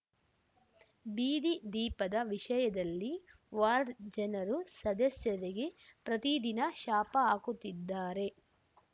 ಬೀದಿ ದೀಪದ ವಿಷಯದಲ್ಲಿ ವಾರ್ಡ ಜನರು ಸದಸ್ಯರಿಗೆ ಪ್ರತಿದಿನ ಶಾಪ ಹಾಕುತ್ತಿದ್ದಾರೆ